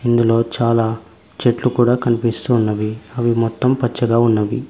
ఇందులో చాలా చెట్టు కూడా కనిపిస్తూ ఉన్నవి అవి మొత్తం పచ్చగా ఉన్నవి.